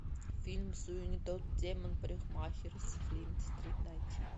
фильм суини тодд демон парикмахер с флит стрит найти